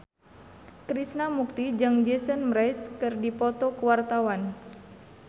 Krishna Mukti jeung Jason Mraz keur dipoto ku wartawan